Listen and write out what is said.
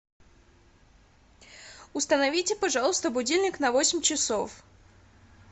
установите пожалуйста будильник на восемь часов